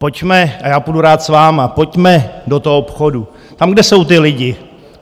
Pojďme - a já půjdu rád s vámi - pojďme do toho obchodu, tam, kde jsou ti lidé.